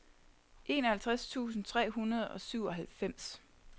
enoghalvtreds tusind tre hundrede og syvoghalvfems